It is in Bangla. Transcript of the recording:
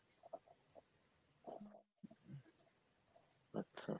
আচ্ছা।